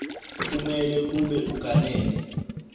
kumele kube uganene